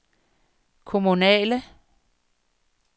kommunale